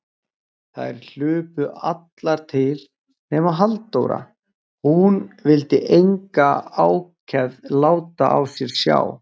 Þær hlupu allar til, nema Halldóra, hún vildi enga ákefð láta á sér sjá.